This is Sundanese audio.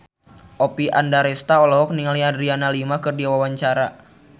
Oppie Andaresta olohok ningali Adriana Lima keur diwawancara